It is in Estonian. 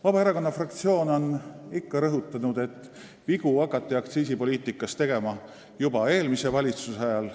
Vabaerakonna fraktsioon on ikka rõhutanud, et vigu hakati aktsiisipoliitikas tegema juba eelmise valitsuse ajal.